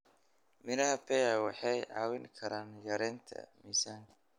Miraha pear waxay caawin karaan yareynta miisaanka.